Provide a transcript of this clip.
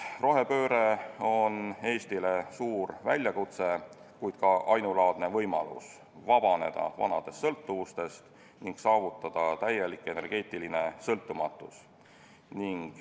Rohepööre on Eestile suur väljakutse, kuid ka ainulaadne võimalus vabaneda vanadest sõltuvustest ning saavutada täielik energeetiline sõltumatus.